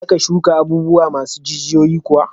Za ka shuka abubuwa masu jijiyoyi kuwa?